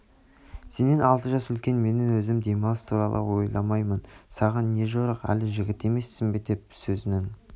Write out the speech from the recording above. сенен алты жас үлкен менің өзім демалыс туралы ойламаймын саған не жорық әлі жігіт емессің бе деп сөзнің